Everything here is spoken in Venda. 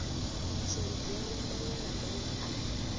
matshimbidzelwe maṅwe na maṅwe a